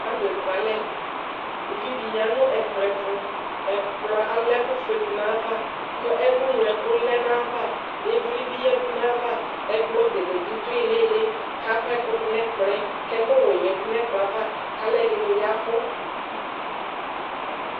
Alʋ ekualɛ Uvi dɩ ya nʋ ɛkplɔ ɛtʋ Ɛkplɔ ala ɛkʋfue dʋ nʋ ayava kʋ ɛkʋŋloɛkʋ lɛ nʋ ayava, ɩvlɩ bɩ yǝdu nʋ ayava Ɛkplɔ bene bɩ dʋ ɩɩlɩ ɩɩlɩ kʋ akɔ ɛkʋ dʋ nʋ ɛkplɔ yɛ kʋ ɛkʋwɛ yǝdu nʋ ɛkplɔ yɛ ava kʋ alʋɛdɩnɩ ya ɛvʋ